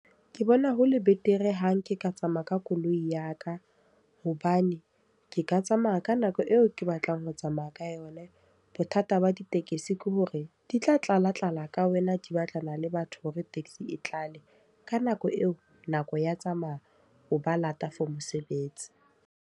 Ke bona hole betere ha nke ka tsamaya ka koloi ya ka. Hobane ke ka tsamaya ka nako eo ke batlang ho tsamaya ka yona. Bothata ba ditekesi ke hore, di tla tlala tlala ka wena di batlana le batho hore taxi e tlale. Ka nako eo, nako ya tsamaya. O ba lata for mosebetsi.